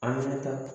An ɲɛnata